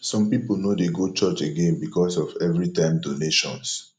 some people no dey go church again because of everytime donations